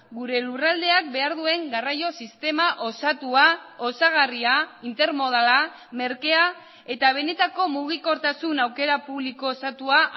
gure lurraldeak behar duen garraio sistema osatua osagarria intermodala merkea eta benetako mugikortasun aukera publiko osatua